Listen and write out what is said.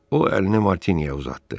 O əlini Martinyə uzatdı.